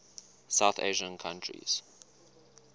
south asian countries